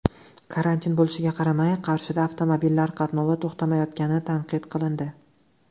Karantin bo‘lishiga qaramay, Qarshida avtomobillar qatnovi to‘xtamayotgani tanqid qilindi.